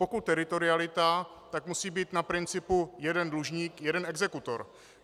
Pokud teritorialita, tak musí být na principu jeden dlužník - jeden exekutor.